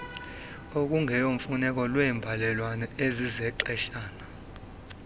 okungeyomfuneko lweembalelwano ezizexeshana